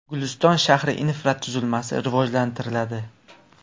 Guliston shahri infratuzilmasi rivojlantiriladi.